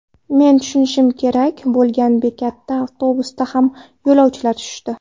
Men tushishim kerak bo‘lgan bekatda avtobusdagi hamma yo‘lovchilar tushdi.